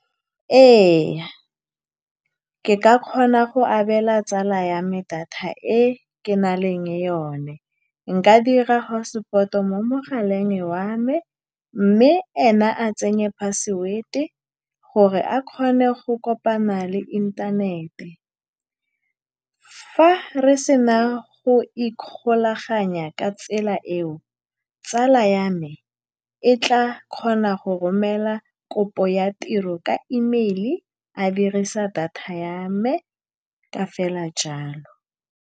Ee, ke ka kgona go abela tsala ya me data e ke nang le yone. Nka dira hotspot-o mo mogaleng wa me, mme ene a tsenye password-e gore a kgone go kopana le inthanete. Fa re sena go ikgolaganya ka tsela eo, tsala ya me e tla kgona go romela kopo ya tiro ka email-i, a dirisa data ya me ka fela jalo.